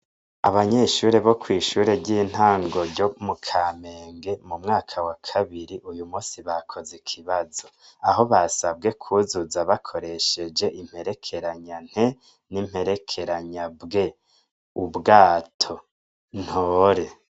Abanyeshure bo kwi shure ry' intango ryo mu Kamenge mu mwaka wa kabiri uyu munsi bakoze ikibazo aho basabwe kwuzuza bakoresheje imperekeranya NT n' imperekeranya BW ubwato ntore.